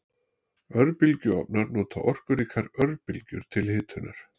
Örbylgjuofnar nota orkuríkar örbylgjur til hitunar.